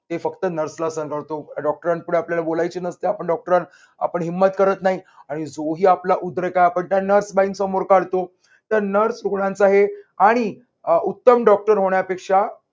हे फक्त nurse ला डॉक्टरांकडे आपल्याला बोलायचे नसते आपण डॉक्टर आपण हिम्मत करत नाही आपला त्यांना स्वाइन समोर काढतो रुग्णांचा आहे आणि उत्तम डॉक्टर होण्यापेक्षा